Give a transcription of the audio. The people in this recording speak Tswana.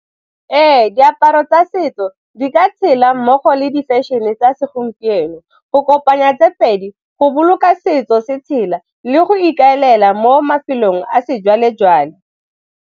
Ee, diaparo tsa setso di ka tshela mmogo le di-fashion-e tsa segompieno, go kopanya tse pedi go boloka setso se tshela le go ikaelela mo mafelong a sejwalejwale.